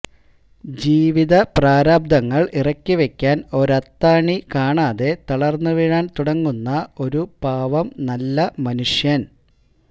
ജീവിതപ്രാരാബ്ധങ്ങൾ ഇറക്കിവയ്ക്കാൻ ഒരത്താണി കാണാതെ തളർന്നുവീഴാൻ തുടങ്ങുന്ന ഒരു പാവം നല്ല മനുഷ്യൻ